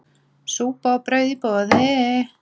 Súpa og brauð í boði.